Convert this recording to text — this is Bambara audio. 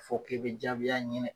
Fɔ k'i bɛ jaabiya ɲini